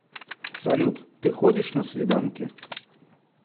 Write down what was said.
салют ты ходишь на свиданки